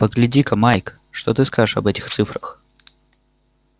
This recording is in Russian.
погляди-ка майк что ты скажешь об этих цифрах